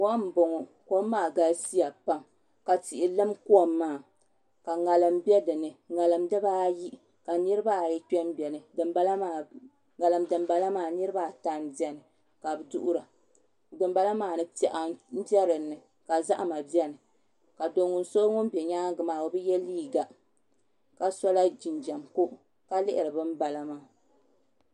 Kom m-bɔŋɔ kom maa galisiya pam ka tihi lim kom maa ka ŋarim be din ni ŋarim dibaayi ka niriba ayi kpe m-beni ŋarim dimbala maa niriba ata m-beni ka bɛ duhira dimbala maa piɛɣu m-be din ni ka zahima beni ka do' so ŋun be nyaaŋa maa o bi ye liiga ka sola jinjam ko ka lihiri bambala maa